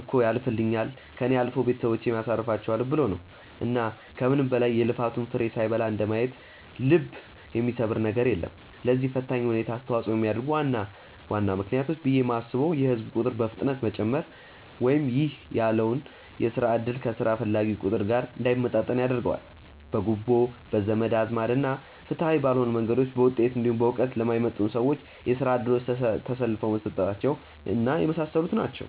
እኮ ያልፍልኛል፣ ከእኔ አልፎ ቤተሰቦቼን አሳርፋቸዋለው ብሎ ነው። እና ከምንም በላይ የልፋቱን ፍሬ ሳይበላ እንደማየት ልብ የሚሰብር ነገር የለም። ለዚህ ፈታኝ ሁኔታ አስተዋጽኦ የሚያደርጉ ዋና ዋና ምክንያቶች ብዬ የማስበው የህዝብ ቁጥር በፍጥነት መጨመር ( ይህ ያለውን የስራ እድል ከስራ ፈላጊው ቁጥር ጋር እንዳይመጣጠን ያደርገዋል።) ፣ በጉቦ፣ በዘመድ አዝማድ እና ፍትሃዊ ባልሆኑ መንገዶች በውጤት እንዲሁም በእውቀት ለማይመጥኑ ሰዎች የስራ እድሎች ተላልፈው መሰጠታቸው እና የመሳሰሉት ናቸው።